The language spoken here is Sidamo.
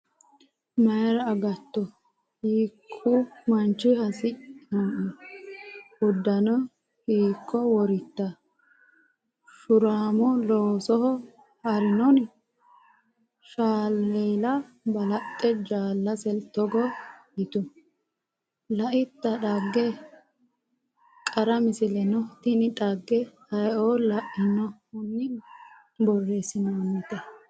mayra agatto? Hiikku manchi hasi’noe? Uddano hiikko woritta? Shuuramo loosoho ha’rinoni? Salleela balaxxe jaalasera togo yitu “Laitta dhagge? Qara Misilaano Tini dhagge ayeoo lainohunni berreessantinote?